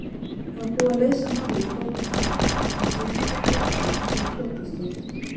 Það var búið að leysa málið í borgarstjórn og samþykkja kirkju þar sem kotið stóð.